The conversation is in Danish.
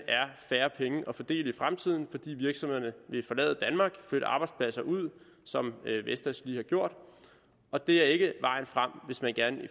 er færre penge at fordele i fremtiden fordi virksomhederne vil forlade danmark flytte arbejdspladser ud som vestas lige har gjort og det er ikke vejen frem hvis man gerne vil